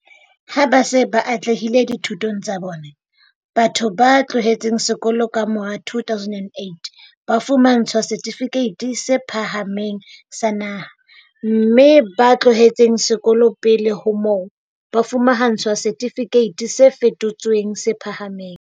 Ha ba se ba atlehile dithutong tsa bona, batho ba tlohetseng sekolo ka mora 2008 ba fumantshwa Setifikeiti se Phahameng sa Naha, mme ba tlohetseng sekolo pele ho moo, ba fumantshwa Setifikeiti se Fetotsweng se Phahameng.